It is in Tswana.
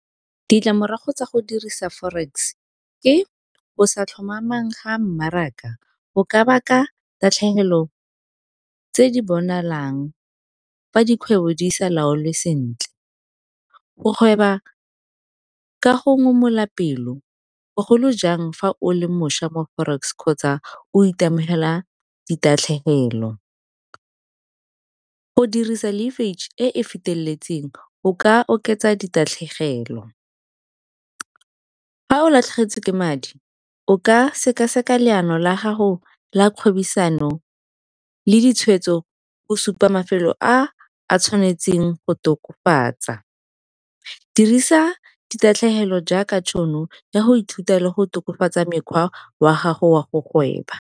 Ditlamorago tsa go dirisa forex ke o sa tlhomamang ga mmaraka, go ka baka tatlhegelo tse di bonalang fa dikgwebo di sa laolwe sentle. Go gweba ka go ngomola pelo bogolo jang fa o le mošwa mo forex kgotsa o itemogela ditatlhegelo. Go dirisa e e e feteletseng o ka oketsa ditatlhegelo, fa o latlhegetswe ke madi o ka seka-seka leano la gago la kgwebisano le ditshweetso go supa mafelo a a tshwanetseng go tokafatsa. Dirisa ditatlhegelo jaaka tšhono ya go ithuta le go tokafatsa mekgwa wa gago wa go gweba.